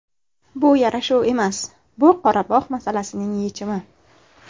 Bu yarashuv emas, bu Qorabog‘ masalasining yechimi.